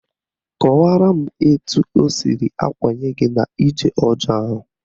Kọwaraa m etu o siri akwanye gị n'ije ọjọọ ahụ